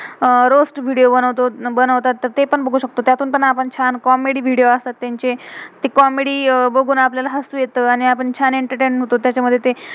अह रोअस्त video video बनवतो, बनवतात. तर ते पण बघू शकतो. त्यातून पण आपण छान कॉमेडी comedy वीडियो video असतात त्यांचे. ते कॉमेडी comedy बघून आपल्याला हसू येतं आणि आपण छान एंटरटेन entertain होतो. तेच्या मध्ये ते